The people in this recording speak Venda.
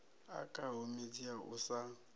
okaho midzi ya u sa